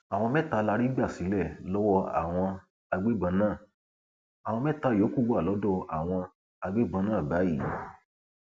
àwọn mẹta la rí gbà sílẹ lọwọ àwọn agbébọn náà àwọn mẹta yòókù wà lọdọ àwọn agbébọn náà báyìí